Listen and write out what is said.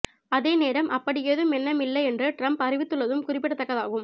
அதே நேரம் அப்படி ஏதும் எண்ணம் இல்லை என்று ட்ரம்ப் அறிவித்துள்ளதும் குறிப்பிடத்தக்கதாகும்